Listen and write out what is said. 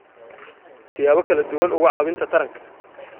siyaabo kala duwan uga caawinta taranka.